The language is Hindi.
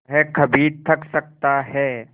वह कभी थक सकता है